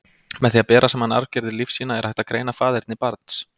Með því að bera saman arfgerðir lífsýna, er hægt að greina faðerni barns.